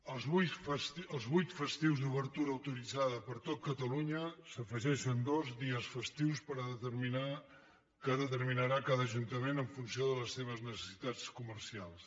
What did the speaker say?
als vuit festius d’obertura autoritzada per a tot catalunya s’hi afegeixen dos dies festius que determinarà cada ajuntament en funció de les seves necessitats comercials